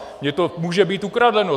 Mně to může být ukradené.